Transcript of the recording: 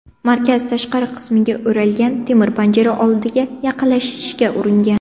markaz tashqari qismiga o‘ralgan temir panjara oldiga yaqinlashishga uringan.